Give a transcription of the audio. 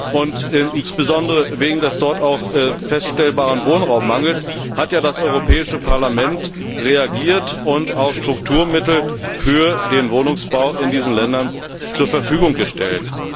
und insbesondere wegen des dort feststellbaren Wohnraummangels hat das Europäische Parlament reagiert und Strukturmittel für den Wohnungsbau in diesen Ländern zur Verfügung gestellt.